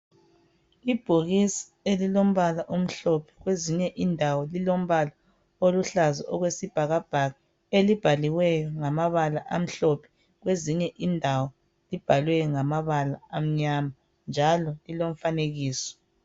Ibhokisi elilombala omhlophe kwezinye indawo lilombala oluhlaza okwesibhakabhaka, elibhaliweyo ngamabala amhlophe kwezinye indawo libhalwe ngamabala amnyama njalo lilomfanekiso.